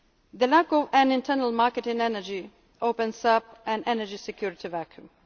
power. The lack of an internal market in energy opens up an energy security